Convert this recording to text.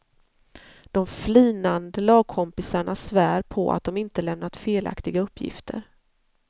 De flinande lagkompisarna svär på att de inte lämnat felaktiga uppgifter.